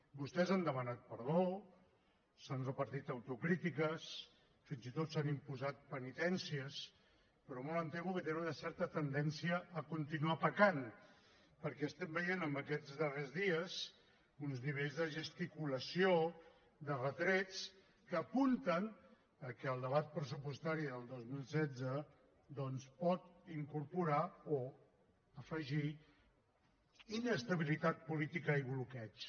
vostès han demanat perdó s’han repartit autocrítiques fins i tot s’han imposat penitències però molt em temo que tenen una certa tendència a continuar pecant perquè estem veient en aquests darrers dies uns nivells de gesticulació de retrets que apunten que el debat pressupostari del dos mil setze doncs pot incorporar o afegir inestabilitat política i bloqueig